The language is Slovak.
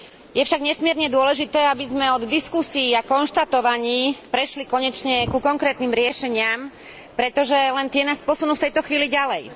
Je však nesmierne dôležité, aby sme od diskusií a konštatovaní prešli konečne ku konkrétnym riešeniam, pretože len tie nás posunú v tejto chvíli ďalej.